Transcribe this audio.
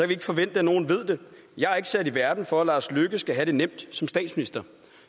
vi ikke forvente at nogen ved det jeg er ikke sat i verden for at lars løkke rasmussen skal have det nemt som statsminister